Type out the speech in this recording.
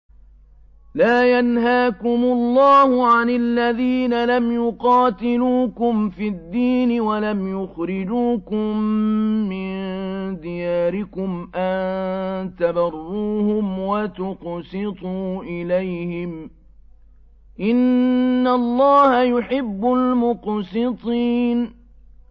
لَّا يَنْهَاكُمُ اللَّهُ عَنِ الَّذِينَ لَمْ يُقَاتِلُوكُمْ فِي الدِّينِ وَلَمْ يُخْرِجُوكُم مِّن دِيَارِكُمْ أَن تَبَرُّوهُمْ وَتُقْسِطُوا إِلَيْهِمْ ۚ إِنَّ اللَّهَ يُحِبُّ الْمُقْسِطِينَ